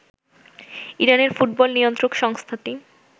ইরানের ফুটবল নিয়ন্ত্রক সংস্থাটি